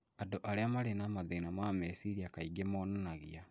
Andũ arĩa marĩ na mathĩna ma meciria kaingĩ monanagia